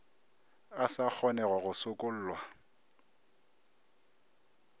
a sa kgonego go sokollwa